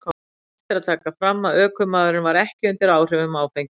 Rétt er að taka fram að ökumaðurinn var ekki undir áhrifum áfengis.